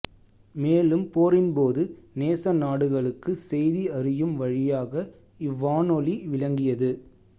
மேலும் போரின்போது நேச நாடுகளுக்கு செய்தி அறியும் வழியாக இவ்வானொலி விளங்கியது